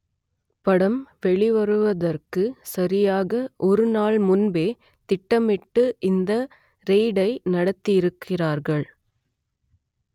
படம் வெளிவருவதற்கு சரியாக ஒருநாள் முன்பே திட்டமிட்டு இந்த ரெய்டை நடத்தியிருக்கிறார்கள்